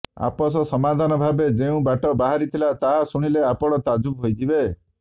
ଆପୋସ ସମାଧାନ ଭାବେ ଯେଉଁ ବାଟ ବାହାରିଥିଲା ତାହା ଶୁଣିଲେ ଆପଣ ତାଜୁବ ହୋଇଯିବେ